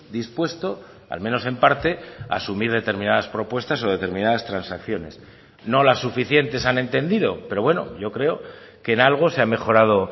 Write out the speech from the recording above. dispuesto al menos en parte a asumir determinadas propuestas o determinadas transacciones no las suficientes han entendido pero bueno yo creo que en algo se ha mejorado